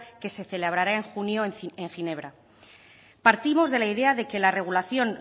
que se celebrará en junio en ginebra partimos de la idea de que la regulación